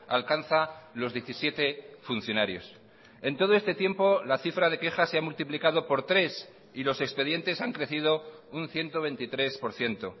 alcanza los diecisiete funcionarios en todo este tiempo la cifra de quejas se ha multiplicado por tres y los expedientes han crecido un ciento veintitrés por ciento